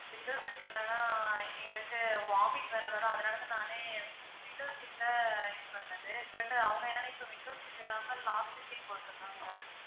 window seat இலான்னா எங்களுக்கு vomit வேற வரும். அதனால தான் நானே window seat அ இது பண்ணது but அவங்க என்னன்னா இப்போ window seat இல்லாம last seat போட்டுருக்காங்க.